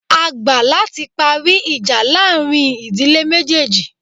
A gbà láti parí ìjà láàrin ìdílé méjéèjì